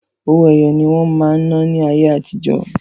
Owó ẹyọ ní wọ́n máa ń ná ní ayé àti jọ́.